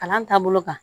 Kalan taabolo kan